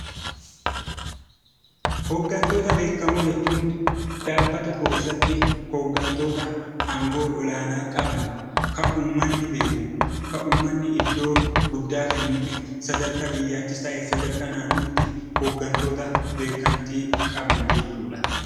Hoggantoota beekamoo jechuun dhaabbata tokko keessatti hoggantoota aangoo olaanaa qaban, kan uummanni beeku, kan uummanni iddoo guddaa kennuu fi sadarkaa biyyaattis ta'ee sadarkaa naannootti hoggantoota beekamtii qaban jechuudha.